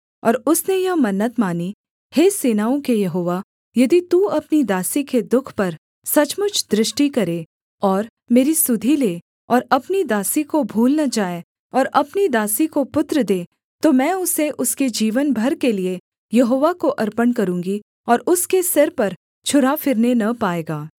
और उसने यह मन्नत मानी हे सेनाओं के यहोवा यदि तू अपनी दासी के दुःख पर सचमुच दृष्टि करे और मेरी सुधि ले और अपनी दासी को भूल न जाए और अपनी दासी को पुत्र दे तो मैं उसे उसके जीवन भर के लिये यहोवा को अर्पण करूँगी और उसके सिर पर छुरा फिरने न पाएगा